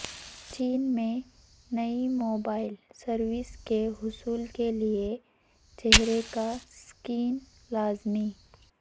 چین میں نئی mobile services کے حصول کے لیے چہرے کا سکین لازمی